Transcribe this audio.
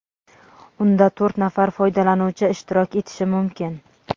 unda to‘rt nafar foydalanuvchi ishtirok etishi mumkin.